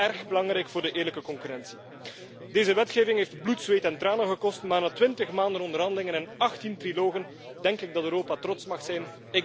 Dat vind ik erg belangrijk voor de eerlijke concurrentie. Deze wetgeving heeft bloed, zweet en tranen gekost maar na 20 maanden onderhandelingen en 18 trialogen denk ik dat Europa trots mag zijn.